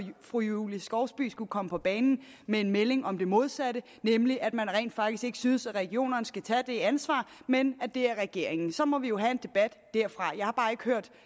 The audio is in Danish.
fru julie skovsby skulle komme på banen med en melding om det modsatte nemlig at man rent faktisk ikke synes regionerne skal tage det ansvar men at det er regeringens så må vi jo have en debat derfra jeg har bare ikke hørt